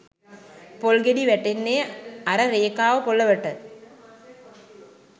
පොල් ගෙඩි වැටෙන්නේ අර රේඛාව පොළොවට